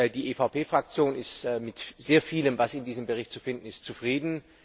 Die EVP Fraktion ist mit sehr vielem, was in dem Bericht zu finden ist, zufrieden.